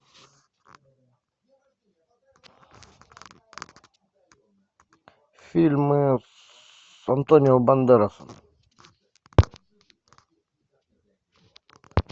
фильмы с антонио бандерасом